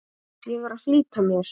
Ég er að flýta mér!